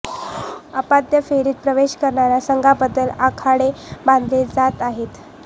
उपांत्य फेरीत प्रवेश करणाऱ्या संघांबद्दल आडाखे बांधले जात आहेत